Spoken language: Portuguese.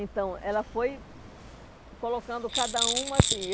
Então, ela foi colocando cada um assim.